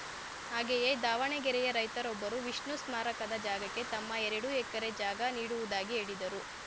ಹಾಗೆಯೇ ದಾವಣಗೆರೆಯ ರೈತರೊಬ್ಬರು ವಿಷ್ಣು ಸ್ಮಾರಕ ಜಾಗಕ್ಕೆ ತಮ್ಮ ಎರಡು ಎಕರೆ ಜಾಗ ನೀಡುವುದಾಗಿ ಹೇಳಿದರು